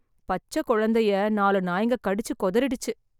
பச்ச கொழந்தையை நாலு நாய்ங்க கடிச்சு கொதரிடிச்சு.